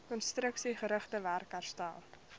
konstruksiegerigte werk herstel